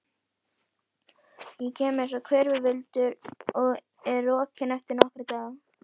Ég kem einsog hvirfilvindur og er rokinn eftir nokkra daga.